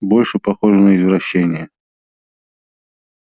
больше похоже на извращение